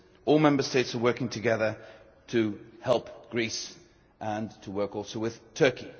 All Member States are working together to help Greece and to work also with Turkey.